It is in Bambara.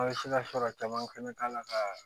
An bɛ se ka sɔrɔ caman fana k'a la ka